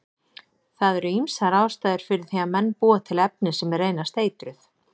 Það eru ýmsar ástæður fyrir því að menn búa til efni sem reynast eitruð.